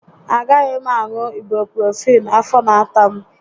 Agaghị m aṅụ ibuprofịịn, afọ n'ata m